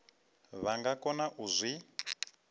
vha nga kona u zwi